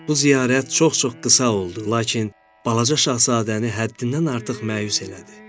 Bu ziyarət çox-çox qısa oldu, lakin balaca şahzadəni həddindən artıq məyus elədi.